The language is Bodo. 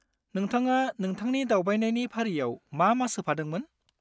नोंथाङा नोंथांनि दावबायनायनि फारियाव मा मा सोफादोंमोन?